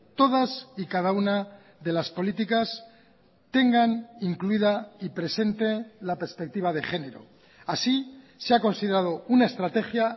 todas y cada una de las políticas tengan incluida y presente la perspectiva de género así se ha considerado una estrategia